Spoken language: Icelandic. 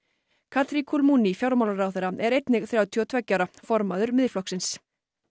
katri Kulmuni fjármálaráðherra er einnig þrjátíu og tveggja ára formaður Miðflokksins